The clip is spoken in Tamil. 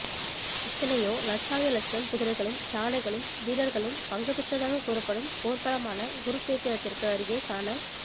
எத்தனையோ லட்சாதி லட்சம் குதிரைகளும் யானைகளும் வீரர்களும் பங்கு பெற்றதாகக் கூறப்படும் போர்க்களமான குருச்கேத்திரத்திற்கு அருகே காணக்